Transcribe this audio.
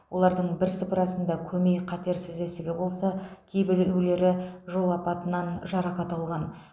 олардың бірсыпырасында көмей қатерсіз ісігі болса кейбіреулері жол апатынан жарақат алған